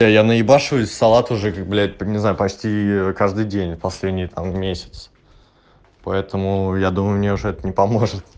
а я на ебашу и салат уже как блять не знаю почти каждый день последний месяц поэтому я думаю мне уже это не поможет